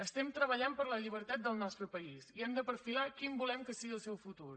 estem treballant per la llibertat del nostre país i hem de perfilar quin volem que sigui el seu futur